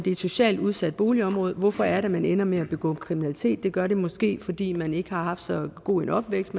et socialt udsat boligområde hvorfor er det at man ender med at begå kriminalitet det gør det måske fordi man ikke har haft så god en opvækst